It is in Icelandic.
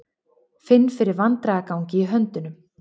Finn fyrir vandræðagangi í höndunum.